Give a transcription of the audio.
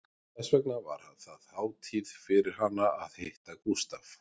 Þess vegna var það hátíð fyrir hana að hitta Gústaf